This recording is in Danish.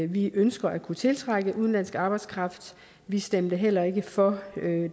vi ønsker at kunne tiltrække udenlandsk arbejdskraft vi stemte heller ikke for